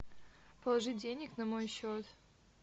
положить денег на мой счет